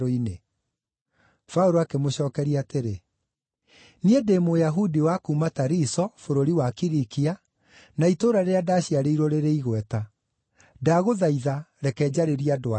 Paũlũ akĩmũcookeria atĩrĩ, “Niĩ ndĩ Mũyahudi wa kuuma Tariso, bũrũri wa Kilikia, na itũũra rĩrĩa ndaciarĩirwo rĩrĩ igweta. Ndagũthaitha, reke njarĩrie andũ aya.”